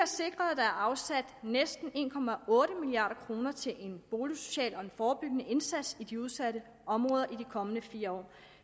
sikret at der er afsat næsten en milliard kroner til en boligsocial og forebyggende indsats i de udsatte områder i de kommende fire år